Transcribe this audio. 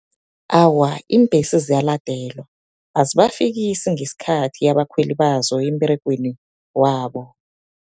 Awa, iimbhesi ziyaladelwa, azibafikisi ngesikhathi abakhweli bazo emberegweni wabo.